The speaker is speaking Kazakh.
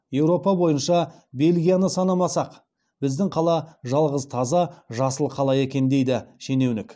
еуропа бойынша бельгияны санамасақ біздің қала жалғыз таза жасыл қала екен дейді шенеунік